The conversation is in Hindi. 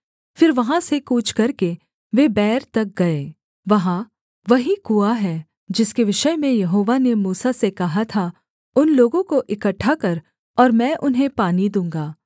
फिर वहाँ से कूच करके वे बैर तक गए वहाँ वही कुआँ है जिसके विषय में यहोवा ने मूसा से कहा था उन लोगों को इकट्ठा कर और मैं उन्हें पानी दूँगा